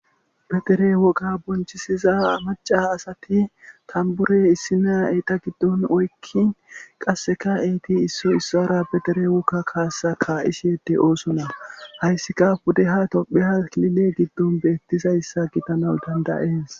Petere woga bonchisiza amaca asati tambure issina eta giddon oykkin qasseka eeti isso issaara betere wokka kaasa ka'ishede oosona hayssika bude ha topheha lile giddon beettizayssa gitanaw dandayes.